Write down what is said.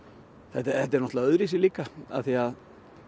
þetta er náttúrulega öðruvísi líka af því að